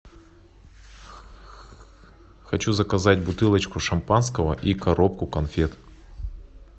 хочу заказать бутылочку шампанского и коробку конфет